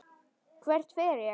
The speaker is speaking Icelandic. Hvert fer ég?